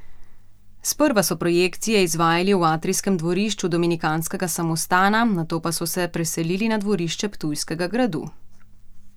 Sprva so projekcije izvajali v atrijskem dvorišču Dominikanskega samostana, nato pa so se preselili na dvorišče Ptujskega gradu.